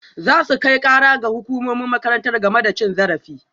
Za su kai kara ga hukumomin makarantar game da cin zarafi